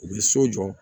U bɛ so jɔ